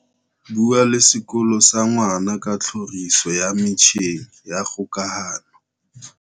Bua le sekolo sa ngwana ka tlhoriso ya metjheng ya kgokahano.